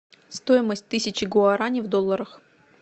стоимость тысячи гуарани в долларах